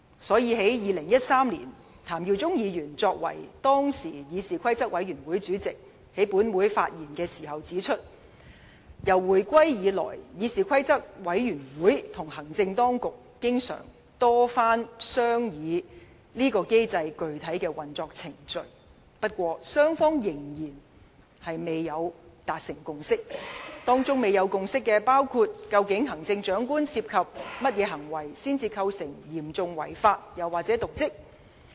所以，在2013年，前立法會議員譚耀宗作為當時議事規則委員會主席在本會發言時指出，自回歸以來，議事規則委員會與行政當局曾多番商議彈劾機制的具體運作程序，但雙方仍未達成共識，當中未有共識的問題包括：究竟行政長官涉及甚麼行為，才構成"嚴重違法"及"瀆職"？